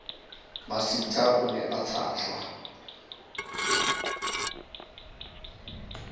masitha o ne a tshajwa